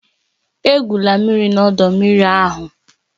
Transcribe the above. Egwula mmiri na ọdọ mmiri ahụ